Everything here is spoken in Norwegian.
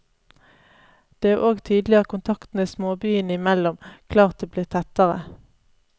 Det er og tydelig at kontaktene småbyene imellom klart er blitt tettere.